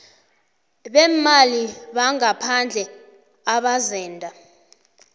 beemali bangaphandle abazenda